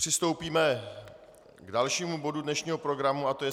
Přistoupíme k dalšímu bodu dnešního programu a to je